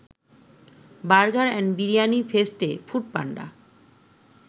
burger and biryani ফেস্টে Foodpanda